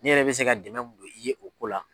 Ne yɛrɛ be se ka dɛmɛ don i ye o ko la